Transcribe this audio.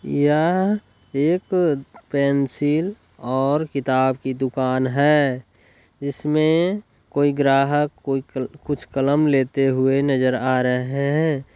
यह एक पेन्सिल और किताब की दुकान है जिसमें कोई ग्राहक कोई कल कुछ कलम लेते हुए नजर आ रहे हैं।